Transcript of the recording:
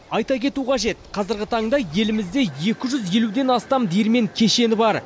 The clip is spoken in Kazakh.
айта кету қажет қазіргі таңда елімізде екі жүз елуден астам диірмен кешені бар